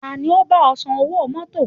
Ta ni ó bá ọ san owó mọ́tọ̀?